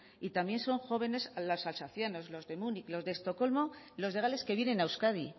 y también son jóvenes las alsacianas los de múnich los de estocolmo los de gales que vienen a euskadi